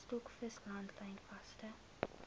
stokvis langlyn vangste